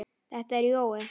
Þetta er Jói!